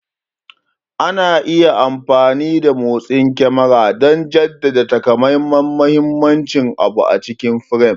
Ana iya amfani da motsin kyamarar don jaddada takamaiman muhimmanci abu a cikin firam.